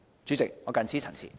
主席，我謹此陳辭。